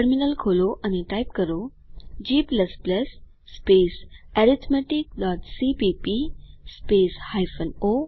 terminal ખોલો અને type કરો g arithmeticસીપીપી o અરિથ Enter ડબાઓ